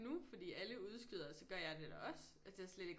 Nu fordi alle udskyder så gør jeg det da også altså det har jeg slet ikke